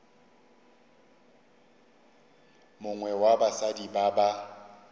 mongwe wa basadi ba ba